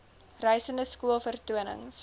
reisende skool vertonings